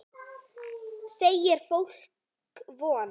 Þeir selja fólki von.